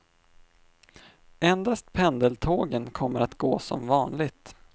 Endast pendeltågen kommer att gå som vanligt.